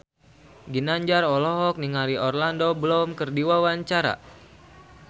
Ginanjar olohok ningali Orlando Bloom keur diwawancara